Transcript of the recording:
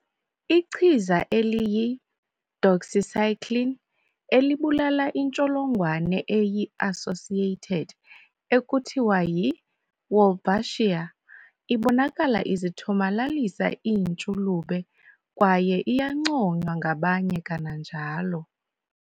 Ichiza eliyi- doxycycline, elibulala intsholongwane eyi-associated ekuthiwa yi-"Wolbachia", ibonakala izithomalalisa iintshulube kwaye iyanconywa ngabanye kananjalo.